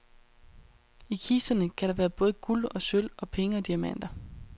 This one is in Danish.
I kisterne kan der være både guld og sølv og penge og diamanter.